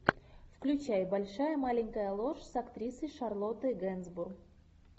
включай большая маленькая ложь с актрисой шарлоттой генсбур